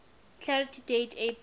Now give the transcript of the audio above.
clarify date april